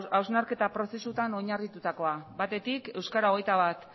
hausnarketa prozesuan oinarritutakoa batetik euskara hogeita bat